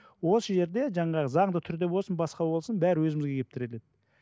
осы жерде жаңағы заңды түрде болсын басқа болсын бәрі өзімізге келіп тіреледі